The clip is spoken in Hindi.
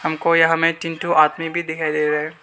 हमको यहां में तीन ठो आदमी भी दिखाई दे रहे हैं।